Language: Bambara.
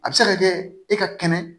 A bɛ se ka kɛ e ka kɛnɛ